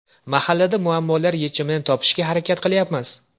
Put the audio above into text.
Mahallada muammolar yechimini topishga harakat qilyapmiz.